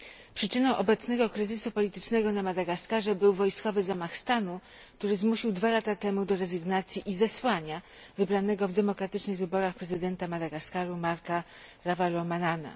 Przyczyną obecnego kryzysu politycznego na Madagaskarze był wojskowy zamach stanu, który zmusił dwa lata temu do rezygnacji i zesłania wybranego w demokratycznych wyborach prezydenta Madagaskaru Marca Ravalomananę.